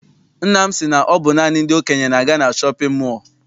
Nna m si na ọ bụ naanị ndị okenye na-aga na shọpịn mọọ.